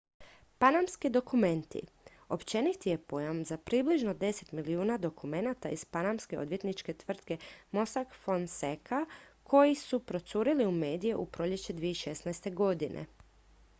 """panamski dokumenti" općeniti je pojam za približno deset milijuna dokumenata iz panamske odvjetničke tvrtke mossack fonseca koji su procurili u medije u proljeće 2016.